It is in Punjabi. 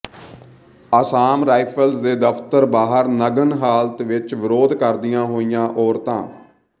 ਅਸਾਮ ਰਾਈਫਲਜ਼ ਦੇ ਦਫਤਰ ਬਾਹਰ ਨਗਨ ਹਾਲਤ ਵਿਚ ਵਿਰੋਧ ਕਰਦੀਆਂ ਹੋਈਆਂ ਔਰਤਾਂ